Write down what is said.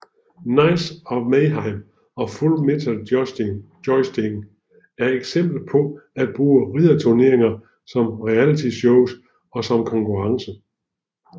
Knights of Mayhem og Full Metal Jousting er eksempler på at bruge ridderturneringer som realityshow og som konkurrence